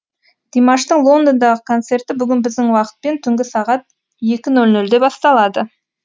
димаштың лондондағы концерті бүгін біздің уақытпен түнгі сағат екі нөл нөлде басталады